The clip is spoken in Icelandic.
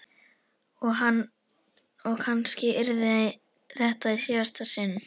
Og kannski yrði þetta í síðasta sinn.